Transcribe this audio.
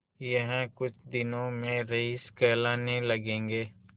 यह कुछ दिनों में रईस कहलाने लगेंगे